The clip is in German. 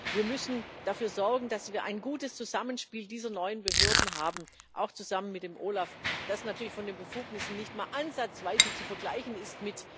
Wir müssen dafür sorgen, dass wir ein gutes Zusammenspiel dieser neuen Behörden haben, auch zusammen mit dem OLAF, das natürlich von den Befugnissen nicht mal ansatzweise mit der EUStA zu vergleichen ist.